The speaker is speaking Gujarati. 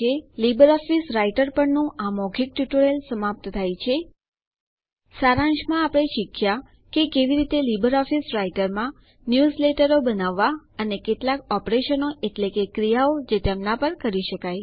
લીબર ઓફીસ રાઈટર પર ના આ મૌખિક ટ્યુટોરીયલ સમાપ્ત થાય છે સારાંશમાં આપણે શીખ્યા કે કેવી રીતે લીબર ઓફીસ રાઈટરમાં ન્યુઝલેટરો બનાવવા અને કેટલાક ઓપરેશન એટલે કે ક્રિયાઓ જે તેમના પર કરી શકાય